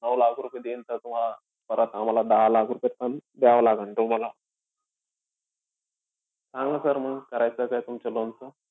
नऊ लाख रुपये देईन sir तुम्हाला. परत आम्हाला दहा लाखापेक्षा कमीचं द्यावं लागेन तुम्हाला. सांगा sir म करायचंय का तुमच्या loan चं.